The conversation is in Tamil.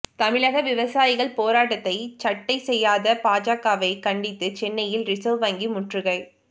தமிழக விவசாயிகள் போராட்டத்தை சட்டை செய்யாத பாஜகவை கண்டித்து சென்னையில் ரிசர்வ் வங்கி முற்றுகை